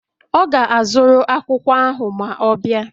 Ọ ga-azụrụ akwụkwọ ahụ ma ọ bịa